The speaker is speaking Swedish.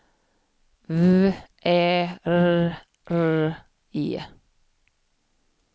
V Ä R R E